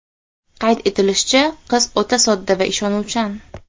Qayd etilishicha, qiz o‘ta sodda va ishonuvchan.